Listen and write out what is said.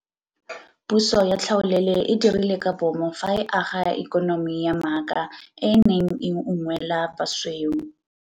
Puso ya tlhaolele e dirile ka bomo fa e aga ikonomi ya maaka e e neng e unngwela basweu.